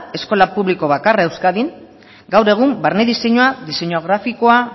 eskola publiko bakarra euskadin gaur egun barne diseinua diseinu grafikoa